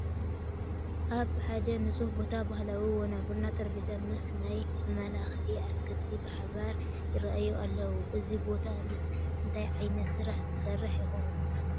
ኣብ ሓደ ንፁህ ቦታ ባህላዊ ወናብርን ጠረጴዛን ምስ ናይ መመላክዒ ኣትኽልቲ ብሓባር ይርአዩ ኣለዉ፡፡ እዚ ቦታ እንታይ ዓይነት ስራሕ ዝሰርሕ ይኸውን?